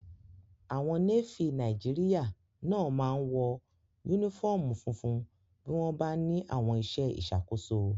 Àwọn Nééfì Nàìjíríyà náà máa n wọ yúnífọ́ọ̀mù funfun bí wọ́n bá ní àwọn iṣẹ́ ìṣàkóso